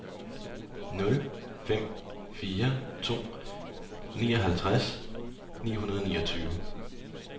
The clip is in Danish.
nul fem fire to nioghalvtreds ni hundrede og niogtyve